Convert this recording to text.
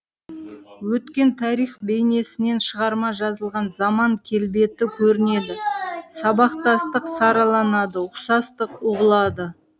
өткен тарих бейнесінен шығарма жазылған заман келбеті көрінеді сабақтастық сараланады ұқсастық ұғылады